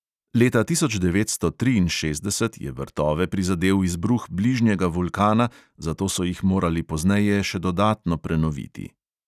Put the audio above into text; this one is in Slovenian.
Leta tisoč devetsto triinšestdeset je vrtove prizadel izbruh bližnjega vulkana, zato so jih morali pozneje še dodatno prenoviti.